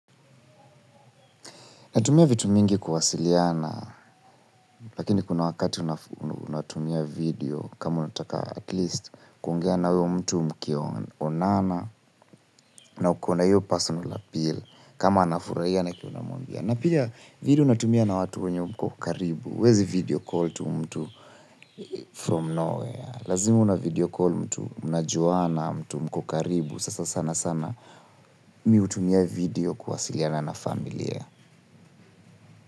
Natumia vitu mingi kuwasiliana, lakini kuna wakati unatumia video kama unataka atleast kuongea na uyo mtu mkionana na uko na iyo personal appeal. Kama anafuraia na kitu namumbia. Na pia video unatumia na watu wenye mko karibu. Huezi video call to mtu from no where. Lazima una video call mtu mnajuana, mtu mko karibu. Sasa sana sana mi utumia video kuwasiliana na familia.